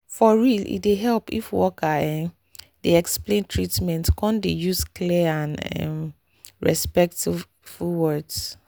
for real e dey help if worker ehh dey explain treatment come dey use clear and um respectful words